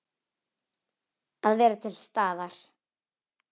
Að vera til staðar.